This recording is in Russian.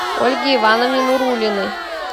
ольге ивановне нуруллиной